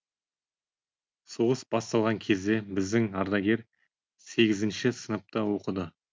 соғыс басталған кезде біздің ардагер сегізінші сыныпта оқыды